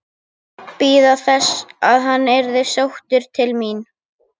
Bíða þess að hann yrði sóttur til mín?